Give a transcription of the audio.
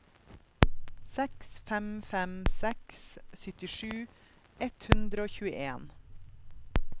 seks fem fem seks syttisju ett hundre og tjueen